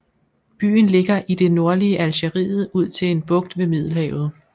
Byen ligger i det nordlige Algeriet ud til en bugt ved Middelhavet